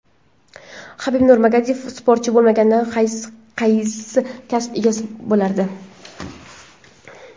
Habib Nurmagomedov sportchi bo‘lmaganida qaysi kasb egasi bo‘lardi?